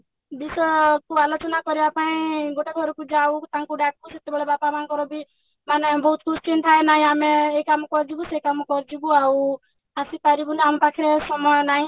ବିଷୟକୁ ଆଲୋଚନା କରିବା ପାଇଁ ଗୋଟେ ଘରକୁ ଯାଉ ତାଙ୍କୁ ଡାକୁ ସେତେବେଳେ ବାପା ମାଆଙ୍କର ବି ମାନେ ବହୁତ question ଥାଏ ନାଇଁ ଆମେ ଏଇ କାମ କରିବୁ ସେଇ କାମ କରିବୁ ଆଉ ଆସିପାରିବୁନି ଆମ ପାଖରେ ସମୟ ନାହିଁ